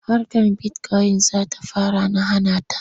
Harkar bitikoyin za ta fara na hana ta.